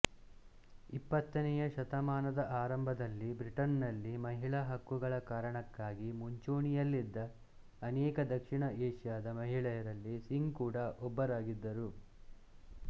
ಇಪ್ಪತ್ತನೆಯ ಶತಮಾನದ ಆರಂಭದಲ್ಲಿ ಬ್ರಿಟನ್ನಲ್ಲಿ ಮಹಿಳಾ ಹಕ್ಕುಗಳ ಕಾರಣಕ್ಕಾಗಿ ಮುಂಚೂಣಿಯಲ್ಲಿದ್ದ ಅನೇಕ ದಕ್ಷಿಣ ಏಷ್ಯಾದ ಮಹಿಳೆಯರಲ್ಲಿ ಸಿಂಗ್ ಕೂಡ ಒಬ್ಬರಾಗಿದ್ದರು